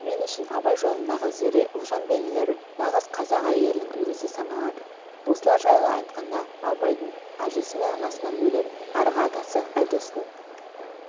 мен үшін абай жолындағы зере ұлжан бейнелері нағыз қазақ әйелінің үлгісі саналады осылар жайлы айтқанда абайдың әжесімен анасынан бөлек арғы атасы айдостың